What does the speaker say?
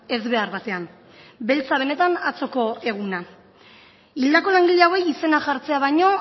ezbehar batean beltza benetan atzoko eguna hildako langile hauei izena jartzea baino